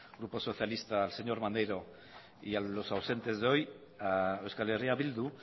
grupo socialista al señor maneiro y a los ausentes de hoy a euskal herria bildu